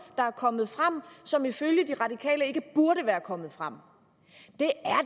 der er kommet frem og som ifølge de radikale ikke burde være kommet frem